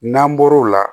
N'an bɔr'o la